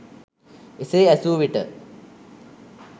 එසේ ඇසු විට